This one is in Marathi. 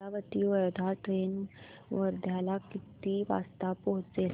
अमरावती वर्धा ट्रेन वर्ध्याला किती वाजता पोहचेल